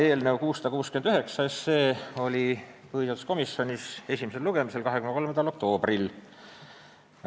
Eelnõu 669 oli põhiseaduskomisjonis esimesel lugemisel 23. oktoobril.